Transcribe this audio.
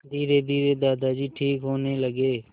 धीरेधीरे दादाजी ठीक होने लगे